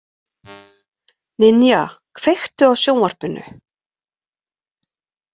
Ninja, kveiktu á sjónvarpinu.